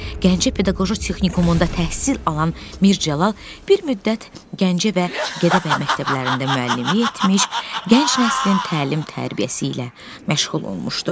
Gəncə Pedaqoji Texnikumunda təhsil alan Mirzəcəlal bir müddət Gəncə və Gədəbəy məktəblərində müəllimlik etmiş, gənc nəslin təlim-tərbiyəsi ilə məşğul olmuşdu.